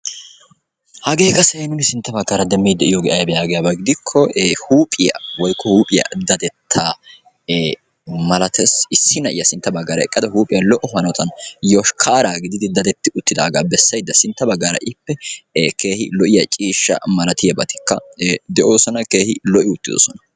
Hagee qassi ha'i nu sintta baggaara demmiiddi de'iyogee ayibee yaagiyaba hidikko huuphiya woyikko huuphiya dadettaa malates. Issi na'iya sintta baggaara eqqada huuphiya lo'o hanotan yoshkkaara gididi dadetti uttaagaa bessayidda sintta baggaara ippe keehi lo'iya ciishshaa malatiyabatikka de'oosona. Keehi lo'i uttidosona.